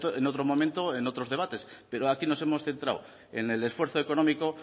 en otro momento en otros debates pero aquí nos hemos centrado en el esfuerzo económico